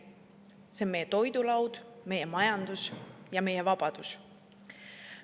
See on meie toidulaud, meie majandus ja meie vabadus.